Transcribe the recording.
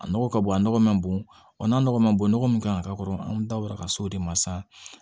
A nɔgɔ ka bon a nɔgɔ ma bon n'a nɔgɔ ma bon nɔgɔ min kan ka k'a kɔrɔ an dabɔra ka s'o de ma sisan